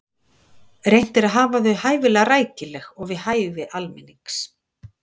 reynt er að hafa þau hæfilega rækileg og við hæfi almennings